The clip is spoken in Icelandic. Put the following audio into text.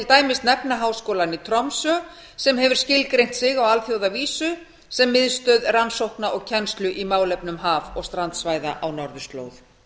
dæmis nefna háskólann í tromsö sem hefur skilgreint sig á alþjóðavísu sem miðstöð rannsókna og kennslu í málefnum haf og strandsvæða á norðurslóð